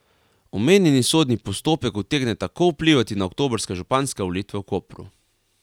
Omenjeni sodni postopek utegne tako vplivati na oktobrske županske volitve v Kopru.